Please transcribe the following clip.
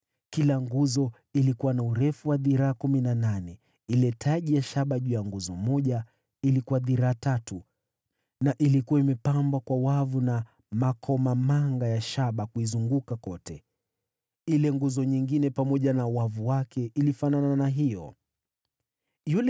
Kila nguzo ilikuwa na urefu wa dhiraa kumi na nane. Sehemu ya shaba juu ya nguzo moja ilikuwa na urefu wa dhiraa tatu na ilikuwa imepambwa kwa wavu na makomamanga ya shaba kuizunguka kote. Ile nguzo nyingine pamoja na wavu wake ilifanana na hiyo ya kwanza.